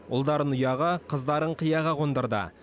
ұлдарын ұяға қыздарын қияға қондырды